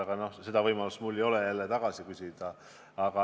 Aga mulle jälle ei ole antud võimalust teilt selle kohta üle küsida.